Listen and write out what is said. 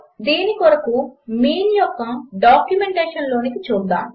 దీని కొరకు మీన్ యొక్క డాక్యుమెంటేషన్లోనికి చూద్దాము